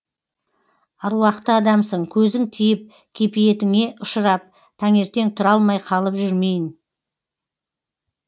аруақты адамсың көзің тиіп кепиетіңе ұшырап таңертең тұра алмай қалып жүрмейін